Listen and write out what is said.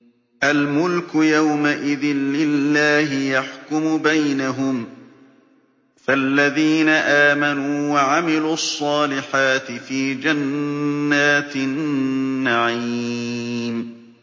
الْمُلْكُ يَوْمَئِذٍ لِّلَّهِ يَحْكُمُ بَيْنَهُمْ ۚ فَالَّذِينَ آمَنُوا وَعَمِلُوا الصَّالِحَاتِ فِي جَنَّاتِ النَّعِيمِ